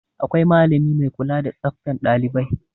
Akwai malami mai kula da tsaftan ɗailibai.